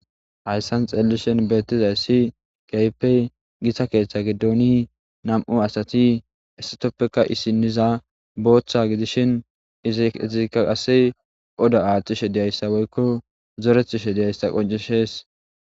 Hayssan xeelishin beetizayssi keehippe gita keethe gidoni nam'u asati hesatapeka issiniza bootha gidishin izika qase oda aathishe dizayssa woyko zoretishe diyayssa qonccises.